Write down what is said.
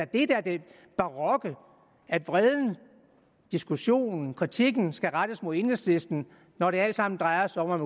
det der er det barokke at vreden diskussionen kritikken skal rettes mod enhedslisten når det alt sammen drejer sig om at